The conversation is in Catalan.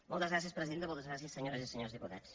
moltes gràcies presidenta moltes gràcies senyores i senyors diputats